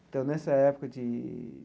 Então nessa época de.